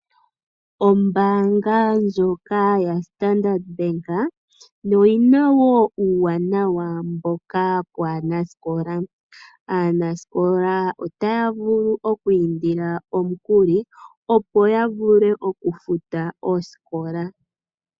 Ombaanga ndyoka yaStandard Bank, oyina wo uuwanawa mboka waanasikola. Aanasikola otaya vulu oku indila omikuli, opo yavule okufuta oosikola.